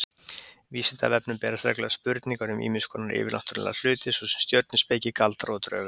Vísindavefnum berast reglulega spurningar um ýmiss konar yfirnáttúrlega hluti, svo sem stjörnuspeki, galdra og drauga.